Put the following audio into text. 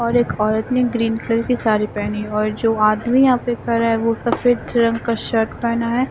और एक औरत ने ग्रीन कलर के साड़ी पहनी और जो आदमी यहां पे खड़ा है वो सफेद रंग का शर्ट पहना है।